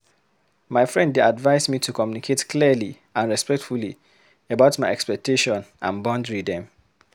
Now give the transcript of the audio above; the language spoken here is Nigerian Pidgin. My friend dey advise me to communicate clearly and respectfully about my expectation and boundary dem.